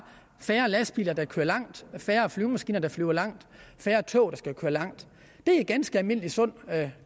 færre lastbiler der kører langt færre flyvemaskiner der flyver langt færre tog der skal køre langt det er ganske almindelig sund